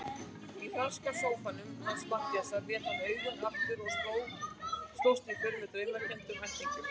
Í franska sófanum hans Matthíasar lét hún augun aftur og slóst í för með draumkenndum ættingjum.